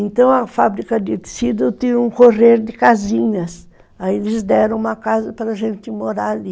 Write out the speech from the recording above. Então a fábrica de tecido tinha um correr de casinhas, aí eles deram uma casa para a gente morar ali.